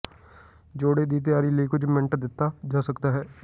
ਜੋੜੇ ਦੀ ਤਿਆਰੀ ਲਈ ਕੁਝ ਮਿੰਟ ਦਿੱਤਾ ਜਾ ਸਕਦਾ ਹੈ